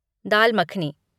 Dal makhani